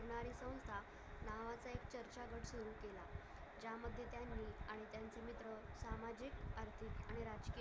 ज्यामध्ये त्यांनी आणि त्यांचे मित्र सामाजिक असतील आणि राज्य